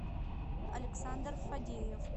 александр фадеев